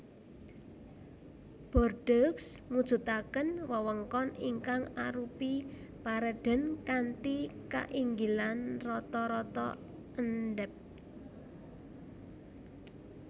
Bordeaux mujudaken wewengkon ingkang arupi paredèn kanthi kainggilan rata rata endhèp